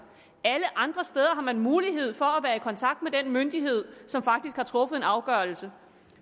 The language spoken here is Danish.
alle andre steder har man mulighed for at kontakt med den myndighed som faktisk har truffet en afgørelse